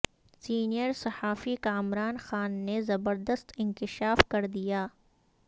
senior صحافی کامران خان نے زبردست انکشاف کر دیا